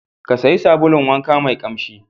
Ka sayi sabulun wanka mai ƙamshi.